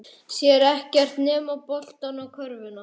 Sér ekkert nema boltann og körfuna.